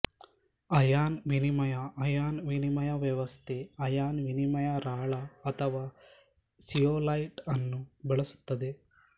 ion ವಿನಿಮಯ ion ವಿನಿಮಯ ವ್ಯವಸ್ಥೆ ಅಯಾನ್ ವಿನಿಮಯ ರಾಳ ಅಥವಾ ಸಿಯೊಲೈಟ್ಅನ್ನು ಬಳಸುತ್ತದೆ